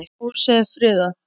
Húsið er friðað.